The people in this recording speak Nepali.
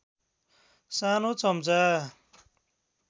सानो चम्चा